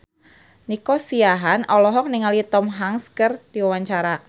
Nico Siahaan olohok ningali Tom Hanks keur diwawancara